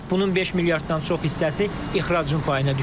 Bunun 5 milyarddan çox hissəsi ixracın payına düşür.